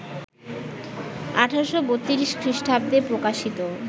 ১৮৩২ খ্রিষ্টাব্দে প্রকশিত